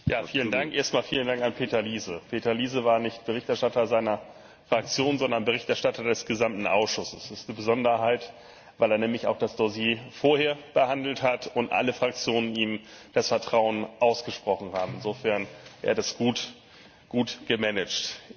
Herr Präsident! Vielen Dank an Peter Liese. Peter Liese war nicht Berichterstatter seiner Fraktion, sondern Berichterstatter des gesamten Ausschusses. Das ist die Besonderheit, weil er nämlich auch das Dossier vorher behandelt hat und alle Fraktionen ihm das Vertrauen ausgesprochen haben insofern hat er das gut gemanaget.